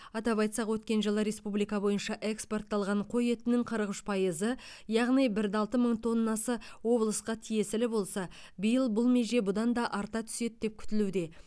атап айтсақ өткен жылы республика бойынша экспортталған қой етінің қырық үш пайызы яғни бір де алты мың тоннасы облысқа тиесілі болса биыл бұл меже бұдан да арта түседі деп күтілуде